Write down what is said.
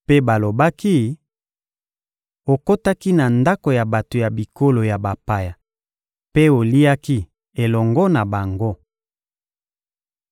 mpe balobaki: — Okotaki na ndako ya bato ya bikolo ya bapaya mpe oliaki elongo na bango!